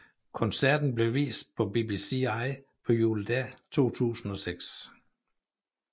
Koncerten blev vist på BBCi på Juledag 2006